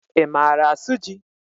I maara asụ jị?